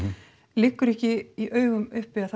liggur ekki í augum uppi að